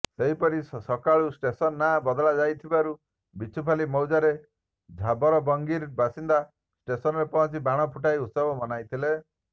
ସେହିପରି ସକାଳୁ ଷ୍ଟେସନ ନାଁ ବଦଳାଯାଇଥିବାରୁ ବିଛୁପାଲି ମୌଜାର ଝାରବଲାଙ୍ଗୀର ବାସିନ୍ଦା ଷ୍ଟେସନରେ ପହଞ୍ଚି ବାଣ ଫୁଟାଇ ଉତ୍ସବ ମନାଇଥିଲେ